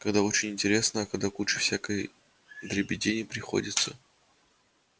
когда очень интересно а когда кучу всякой дребедени приходится